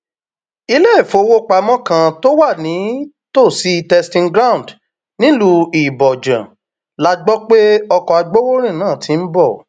iléèwọfọwọpamọ kan tó wà nítòsí testing ground nílùú ibojàn la gbọ pé ọkọ agbowórin náà ti ń bọ